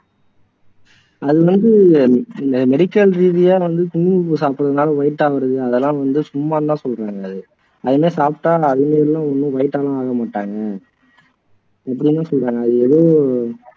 அது வந்து medical ரீதியா வந்து குங்குமப்பூ சாப்பிட்டதுனால white ஆகுறது அதெல்லாம் வந்து சும்மா எல்லாம் சொல்றது கிடையாது அது மாதிரி சாப்பிட்டா ஒண்ணும் white ஆ எல்லாம் ஆக மாட்டாங்க அப்படின்னும் சொல்றாங்க எதோ